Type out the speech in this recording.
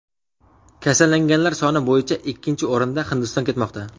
Kasallanganlar soni bo‘yicha ikkinchi o‘rinda Hindiston ketmoqda.